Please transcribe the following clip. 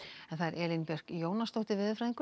Elín Björk Jónasdóttir veðurfræðingur